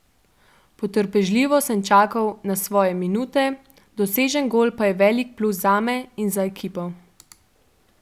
Potrpežljivo sem čakal na svoje minute, dosežen gol pa je velik plus zame in za ekipo.